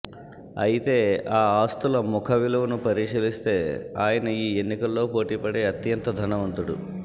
అయితే ఆ ఆస్తుల ముఖ విలువను పరిశీలిస్తే ఆయన ఈ ఎన్నికల్లో పోటీపడే అత్యంత ధనవంతుడు